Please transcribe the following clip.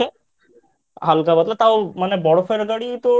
হালকা পাতলা তাও মানে বরফের গাড়ি তোর